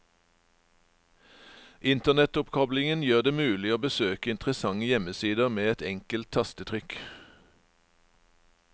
Internettoppkoblingen gjør det mulig å besøke interessante hjemmesider med et enkelt tastetrykk.